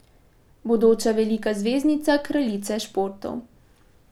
Bodoča velika zvezdnica kraljice športov.